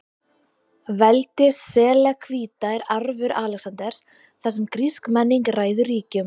Veldi Selevkída er arfur Alexanders, þar sem grísk menning ræður ríkjum.